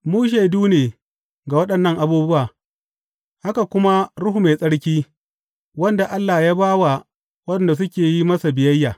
Mu shaidu ne ga waɗannan abubuwa, haka kuma Ruhu Mai Tsarki, wanda Allah ya ba wa waɗanda suke yin masa biyayya.